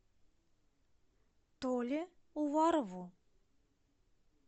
толе уварову